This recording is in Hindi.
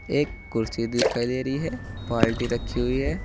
एक कुर्सी दिखाई दे रही है बाल्टी रखी हुई है।